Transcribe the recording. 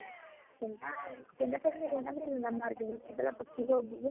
ਕਹਿੰਦਾ, ਕਹਿੰਦਾ ਕਲ ਮੇਰੇ ਨਾਲ ਨੀਲਮ ਬਾਹਰ ਗਏ ਸੀ, ਪਹਿਲਾ ਪੱਚੀ ਸੌ ਰੁਪਏ